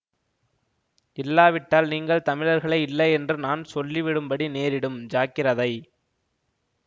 இல்லாவிட்டால் நீங்கள் தமிழர்களே இல்லை என்று நான் சொல்லி விடும்படி நேரிடும் ஜாக்கிரதை